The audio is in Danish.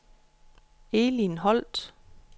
Elin Holt